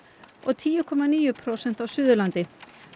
og tíu komma níu prósent á Suðurlandi